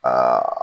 Aa